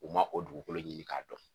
U ma o dugukolo ɲini k'a dɔn.